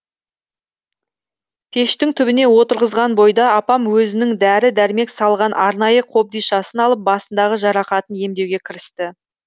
пештің түбіне отырғызған бойда апам өзінің дәрі дәрмек салған арнайы қобдишасын алып басындағы жарақатын емдеуге кірісті